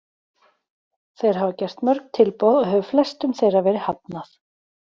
Þeir hafa gert mörg tilboð og hefur flestum þeirra verið hafnað.